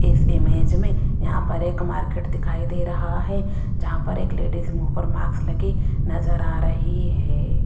इस इमेज में यहां पर एक मार्केट दिखाई दे रहा है जहां पर एक लेडिस मुंह पर मार्क्स लगी नजर आ रही है।